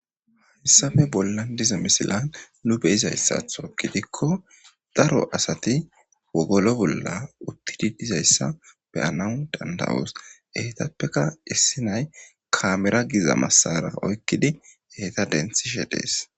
Heysape bollan diza misilen nu be'izasato gidiko daro asati wogolo bola uthidi dizaysa be'anawu danda'os eetapeka issi na'ay kaameran giza maasara oykidi eta denthishe de'es.